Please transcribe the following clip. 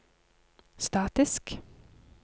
statisk